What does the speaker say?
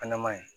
Fɛnɛ maɲi